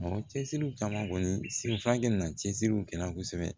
Mɔgɔ cɛsiri kama kɔni senfaga na cɛsiri kɛra kosɛbɛ